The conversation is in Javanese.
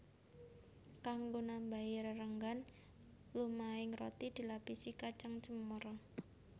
Kanggo nambahi rerenggan lumahing roti dilapisi kacang cemara